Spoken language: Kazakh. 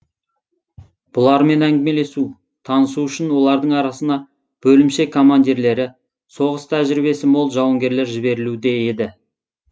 бұлармен әңгімелесу танысу үшін олардың арасына бөлімше командирлері соғыс тәжірибесі мол жауынгерлер жіберілуде еді